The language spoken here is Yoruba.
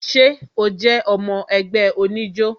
Ṣé o jé ọmọ ẹgbẹ́ oníjó?